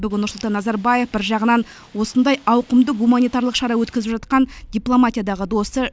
бүгін нұрсұлтан назарбаев бір жағынан осындай ауқымды гуманитарлық шара өткізіп жатқан дипломатиядағы досы